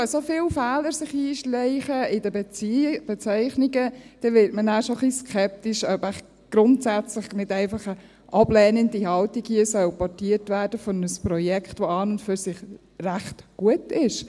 Wenn sich so viele Fehler einschleichen in den Bezeichnungen, dann wird man schon etwas skeptisch, ob wohl grundsätzlich nicht einfach eine ablehnende Haltung hier portiert werden soll für ein Projekt, das an und für sich recht gut ist.